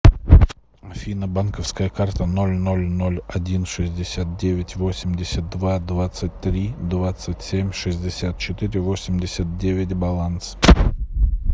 афина банковская карта ноль ноль ноль один шестьдесят девять восемьдесят два двадцать три двадцать семь шестьдесят четыре восемьдесят девять баланс